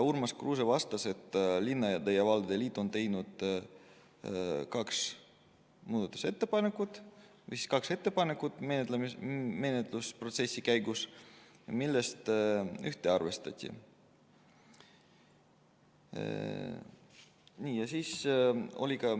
Urmas Kruuse vastas, et Eesti Linnade ja Valdade Liit tegi kaks ettepanekut menetlusprotsessi käigus, neist ühte arvestati.